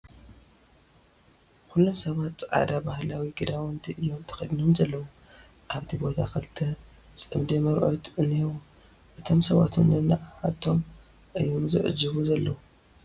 ኹሎም ሰባት ፃዕዳ ባህላዊ ክዳውንቲ እዩም ተኸዲኖም ዘለዉ ኣብቲ ቦታ ክልተ ጽምዲ መርዑት እንሄዉ። እቶም ሰባት'ወን ንዓዓቶም እዩም ዝዕጅቡ ዘለዉ ።